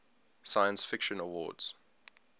science fiction awards